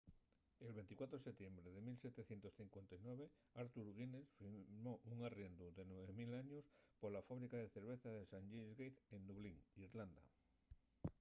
el 24 de setiembre de 1759 arthur guinness firmó un arriendu de 9 000 años pola fábrica de cerveza de st james' gate en dublín irlanda